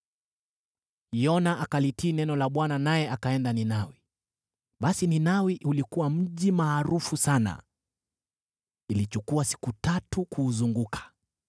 Yona akalitii neno la Bwana naye akaenda Ninawi. Basi Ninawi ulikuwa mji maarufu sana, ilichukua siku tatu kuuzunguka.